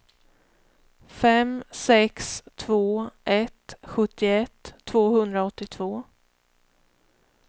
fem sex två ett sjuttioett tvåhundraåttiotvå